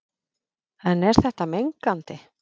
En er þetta mengandi?